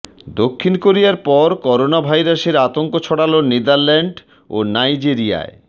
দক্ষিণ কোরিয়ার পর করোনা ভাইরাসের আতঙ্ক ছড়াল নেদারল্যান্ড ও নাইজেরিয়ায়